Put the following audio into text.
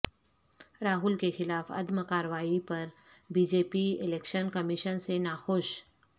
راہول کیخلاف عدم کارروائی پر B J P election commission سے ناخوش